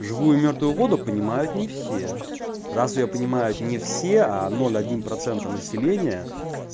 живую и мёртвую воду понимают не все раз её понимают не все ноль один процентов населения